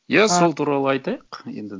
иә сол туралы айтайық енді